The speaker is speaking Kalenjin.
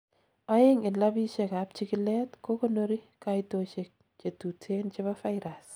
oeng en labisiek ab chikilet kokonori kaitosiek chetuten chebo virus